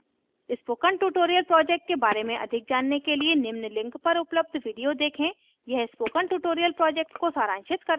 spoken tutorial project के बारे में अधिक जानने के लिए निम्न link पर उपलब्ध video देखें यह spoken tutorial project को सारांशित करता है